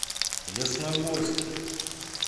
ясногорске